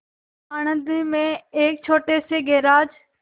आणंद में एक छोटे से गैराज